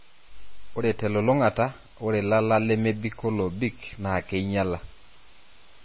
Ore telulungata ore lala lemebik wolobik naa keinyala.